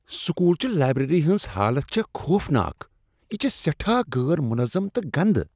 School چہ library ہنز حالت چھےٚ خوفناک، یہ چھےٚ سیٹہاہ غٲر منظم تہٕ گندہ۔